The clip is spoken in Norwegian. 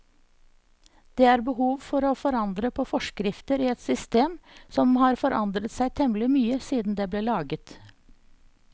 Det er behov for å forandre på forskrifter i et system som har forandret seg temmelig mye siden det ble laget.